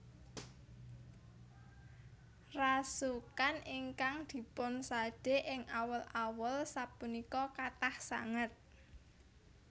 Rasukan ingkang dipun sade ing awul awul sapunika kathah sanget